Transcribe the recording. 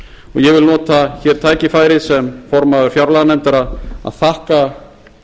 ég vil nota hér tækifærið sem formaður fjárlaganefndar að þakka